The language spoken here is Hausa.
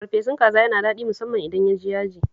Farfesun kaza yana daɗi musamman idan ya ji yaji